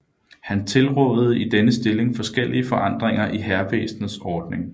Han tilrådede i denne stilling forskellige forandringer i hærvæsenets ordning